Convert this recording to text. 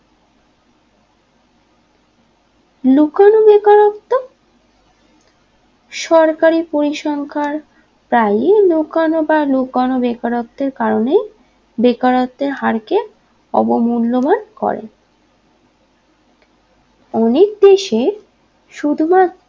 সরকারী পরিসংখ্যার তাই লোকানো বা লোকানো বেকারত্বের কারণে বেকারত্বের হার কে অবমূল্যমান করে অনেক দেশে শুধু মাত্র